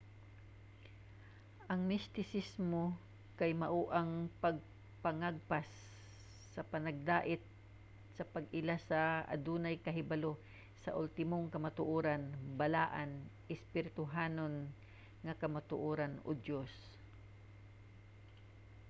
ang mistisismo kay mao ang pagpangagpas sa panagdait sa pag-ila sa o adunay kahibalo sa ultimong kamatuoran balaan espirituhanon nga kamatuoran o diyos